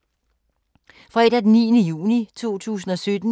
Fredag d. 9. juni 2017